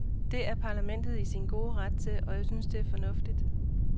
Det er parlamentet i sin gode ret til, og jeg synes, det er fornuftigt.